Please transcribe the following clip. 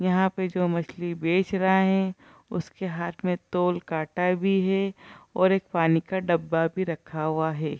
यहाँ पे जो मछली बेच रहे है उसके हाथ में तौल काटा भी है और एक पानी का डब्बा भी रखा हुआ है।